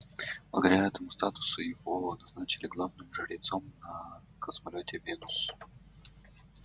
благодаря этому статусу его назначили главным жрецом на космолёте венус